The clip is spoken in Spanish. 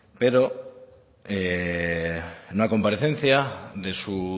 pero en una comparecencia de su